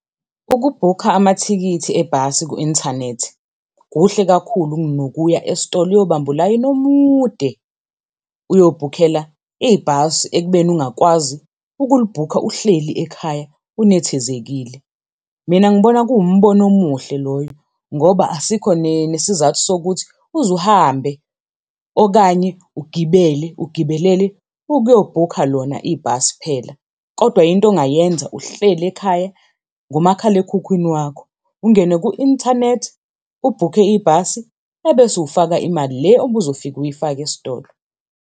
Ukubhukha amathikithi ebhasi ku-inthanethi kuhle kakhulu kunokuya esitolo uyobamba ulayini omude uyobhukhela ibhasi ekubeni ungakwazi ukulibhukha uhleli ekhaya unethezekile. Mina ngibona kuwumbono umuhle loyo ngoba asikho nesizathu sokuthi uze uhambe, okanye ugibele ugibelele ukuyobhukha lona ibhasi phela. Kodwa yinto ongayenza uhleli ekhaya ngomakhalekhukhwini wakho, ungene ku-inthanethi ubhuke ibhasi ebese ufaka imali le obuzofika uyifake esitolo.